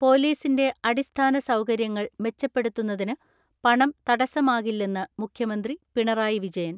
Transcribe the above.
പൊലീസിന്റെ അടിസ്ഥാന സൗകര്യങ്ങൾ മെച്ചപ്പെടുത്തുന്നതിന് പണം തടസമാകില്ലെന്ന് മുഖ്യമന്ത്രി പിണറായി വിജയൻ.